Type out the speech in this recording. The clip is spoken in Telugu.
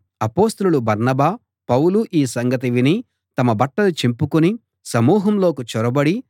అపొస్తలులు బర్నబా పౌలు ఈ సంగతి విని తమ బట్టలు చింపుకుని సమూహంలోకి చొరబడి